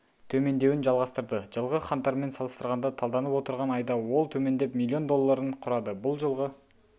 төмендеуін жалғастырды жылғы қаңтармен салыстырғанда талданып отырған айда ол төмендеп миллион долларын құрады бұл жылғы